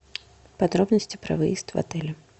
подробности про выезд в отеле